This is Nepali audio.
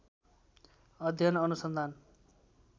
अध्ययन अनुसन्धान